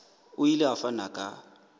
o ile a fana ka